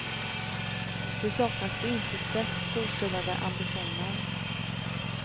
Det saknas på intet sätt storstilade ambitioner.